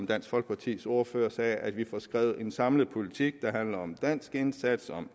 dansk folkepartis ordfører sagde at vi får skrevet en samlet politik der handler om den danske indsats om